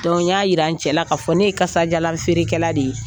n y'a jira n cɛ la k'a fɔ ne ye kasajalan feerekɛla de ye